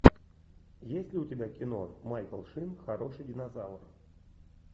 есть ли у тебя кино майкл шин хороший динозавр